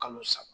Kalo saba